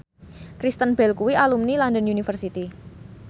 Kristen Bell kuwi alumni London University